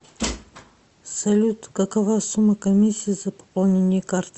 салют какова сумма комиссии за пополнение карты